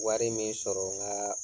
Wari min sɔrɔ ŋaa